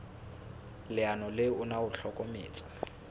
leano le ona o hlokometse